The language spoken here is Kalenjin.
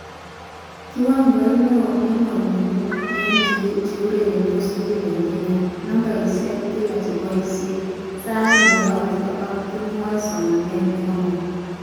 Kiwangoit neo eng walunet eng cheurernshot tukul eng Kenya, nambeshekab kila cheboishe, sait neyoyoshek ak kimwoy somanet nekamong